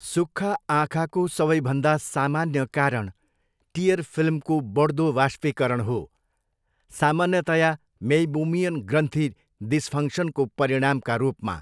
सुक्खा आँखाको सबैभन्दा सामान्य कारण टियर फिल्मको बढ्दो वाष्पीकरण हो, सामान्यतया मेइबोमियन ग्रन्थी डिसफङ्क्सनको परिणामका रूपमा।